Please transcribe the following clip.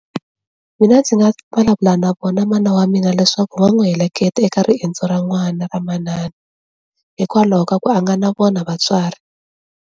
Mina ndzi nga vulavula na vona mana wa mina leswaku va n'wi heleketa eka riendzo ra n'wana ra manana hikwalaho ka ku a nga na vona vatswari.